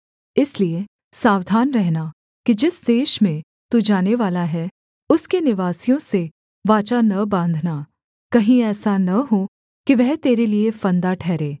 इसलिए सावधान रहना कि जिस देश में तू जानेवाला है उसके निवासियों से वाचा न बाँधना कहीं ऐसा न हो कि वह तेरे लिये फंदा ठहरे